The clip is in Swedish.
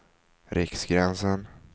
Riksgränsen